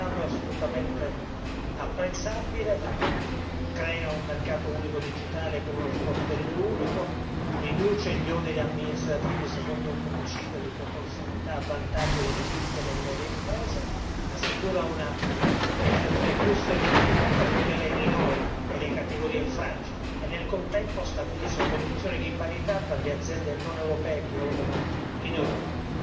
Il risultato è assolutamente apprezzabile, crea un mercato unico digitale con uno sportello unico, riduce gli oneri amministrativi secondo un principio di proporzionalità a vantaggio delle piccole e medie imprese, assicura una legislazione più semplificata, tutela i minori e le categorie fragili e nel contempo stabilisce condizioni di parità per le aziende non europee che operano in Europa.